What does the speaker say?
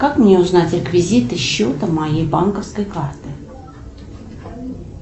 как мне узнать реквизиты счета моей банковской карты